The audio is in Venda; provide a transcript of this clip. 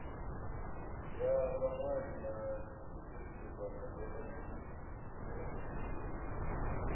ya vhaṅwali na dzifesitivala mbekanyamishumo